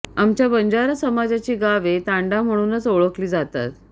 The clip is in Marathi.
आमच्या बंजारा समाजाची गावे तांडा म्हणुनच ओळखली जातात